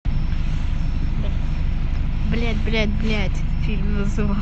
блять блять блять фильм